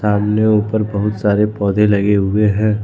अपने ऊपर बहुत सारे पौधे लगे हुए हैं।